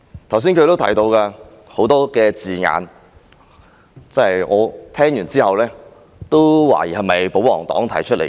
他剛才也提到很多字眼，我聽到也不禁懷疑這是否出自保皇黨議員的口。